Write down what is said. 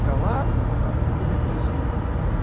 да ладно на самом-то деле это очень